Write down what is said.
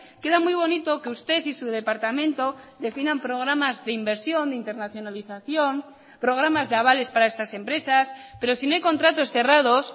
queda muy bonito que usted y su departamento definan programas de inversión de internacionalización programas de avales para estas empresas pero si no hay contratos cerrados